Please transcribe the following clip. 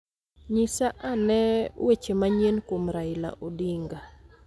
Nyisa ane weche manyien kuom Raila Odinga